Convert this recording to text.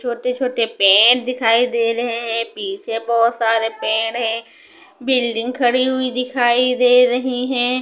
छोटे छोटे पेड़ दिखाई दे रहे हैं पीछे बहोत सारे पेड़ है बिल्डिंग खड़ी हुई दिखाई दे रही है।